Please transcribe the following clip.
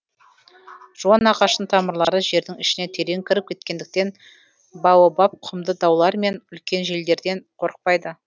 жуан ағаштың тамырлары жердің ішіне терең кіріп кеткендіктен баобаб құмды даулар мен үлкен желдерден қорықпайды